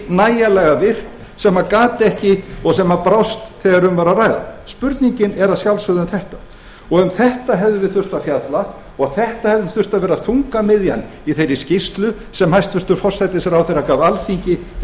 nægilega virkt og sem brást þegar um var að ræða spurningin er að sjálfsögðu um þetta og um þetta hefðum við þurft að fjalla og þetta hefði þurft að vera þungamiðjan í þeirri skýrslu sem hæstvirtur forsætisráðherra gaf alþingi um